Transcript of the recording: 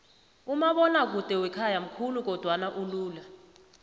umabonakude wakhaya mkhulu kodwana ulula